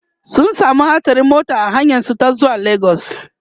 sun samu hatsarin mota a hanyar su ta zuwa legas